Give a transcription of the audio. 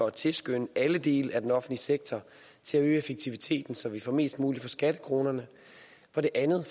at tilskynde alle dele af den offentlige sektor til at øge effektiviteten så vi får mest muligt for skattekronerne for det andet